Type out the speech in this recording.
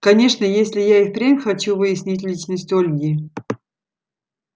конечно если я и впрямь хочу выяснить личность ольги